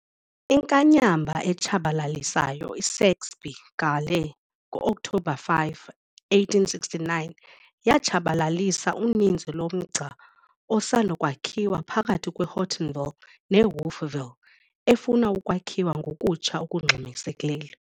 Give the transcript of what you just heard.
Inkanyamba etshabalalisayo "iSaxby Gale" ngo-Okthobha 5, 1869 yatshabalalisa uninzi lomgca osanda kwakhiwa phakathi kweHortonville neWolfville efuna ukwakhiwa ngokutsha okungxamisekileyo.